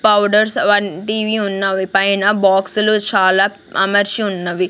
Powders అవన్నీ TV ఉన్నవి పైన బాక్సు లు చాల అమర్చి ఉన్నవి.